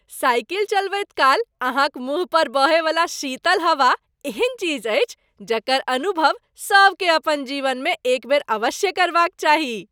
Cycle चलबैत काल अहाँक मुँह पर बहयवला शीतल हवा एहन चीज अछि जकर अनुभव सभकेँ अपन जीवनमे एक बेर अवश्य करबाक चाही।